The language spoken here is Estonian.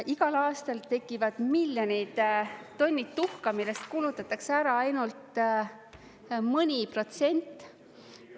Igal aastal tekivad miljonid tonnid tuhka, millest kulutatakse ära ainult mõni protsent.